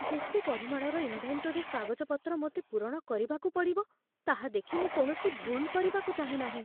ଯେତେ ପରିମାଣର ଇନ୍‌ଭେଣ୍ଟୋରୀ କାଗଜପତ୍ର ମୋତେ ପୂରଣ କରିବାକୁ ପଡ଼ିବ, ତାହା ଦେଖି ମୁଁ କୌଣସି ଭୁଲ୍ କରିବାକୁ ଚାହେଁ ନାହିଁ।